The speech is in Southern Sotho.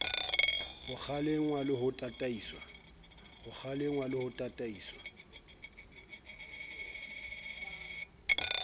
ho kgalengwa le ho tataiswa